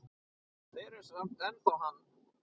Þeir eru samt ennþá hann.